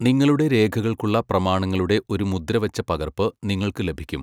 നിങ്ങളുടെ രേഖകൾക്കുള്ള പ്രമാണങ്ങളുടെ ഒരു മുദ്ര വച്ച പകർപ്പ് നിങ്ങൾക്ക് ലഭിക്കും.